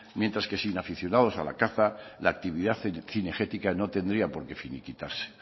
mientras que sin aficionados a la caza la actividad cinegética no tendría por qué finiquitarse